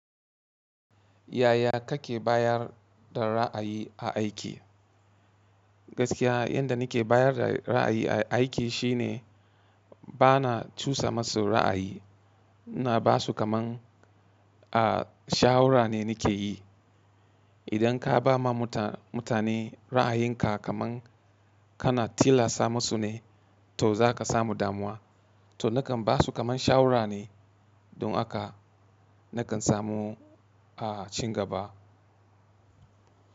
Yaya kake bayar da ra’ayi a aiki? Gaskiya yanda nike bayar da ra'ayi a aiki shine bana cusa masu ra'ayi, ina basu kamar a shawara ne nike yi. Idan ka ba ma mutane ra'ayinka kaman kana tilassa masu ne, to za ka samu damuwa. To nakan basu kamar shawarane don haka nakan samu a cigaba.